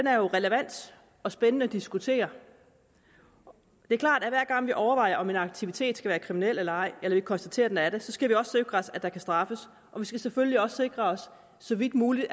er jo relevant og spændende at diskutere det er klart at hver gang vi overvejer om en aktivitet skal være kriminel eller ej eller vi konstaterer at den er det skal vi også sikre os at der kan straffes og vi skal selvfølgelig også så vidt muligt